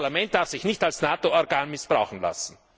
Dieses Parlament darf sich nicht als NATO Organ missbrauchen lassen!